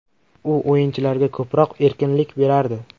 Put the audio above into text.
U o‘yinchilarga ko‘proq erkinlik berardi.